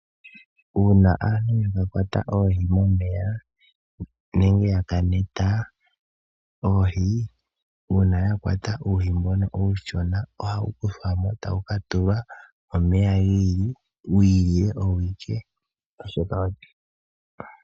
Uuna aantu ya kwata oohi momeya nenge ya ka neta oohi, uuna ya kwata uuhi mbono uushona ohawu kuthwa mo tawu ka tulwa omeya gi ili, wi ilile owo awuke.